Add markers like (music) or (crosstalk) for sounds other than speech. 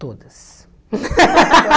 Todas. (laughs)